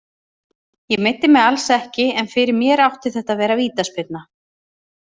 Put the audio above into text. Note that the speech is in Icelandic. Ég meiddi mig alls ekki, en fyrir mér átti þetta að vera vítaspyrna.